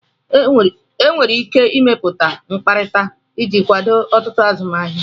Enwere ike ịmepụta mkpakọrịta iji kwado ọtụtụ azụmahịa